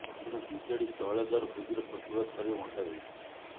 ଏଣୁ ବିଜେଡି ତୈଳ ଦର ବୃଦ୍ଧିର ପ୍ରତିବାଦ କରିବାକୁ ଅଣ୍ଟା ଭିଡ଼ିଛି